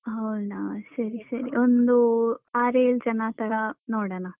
ಹ ಹೌದ ಸರಿ ಸರಿ ಒಂದು ಅಹ್ ಆರ್ ಏಳ್ ಜನ ತರ ನೋಡೋಣ.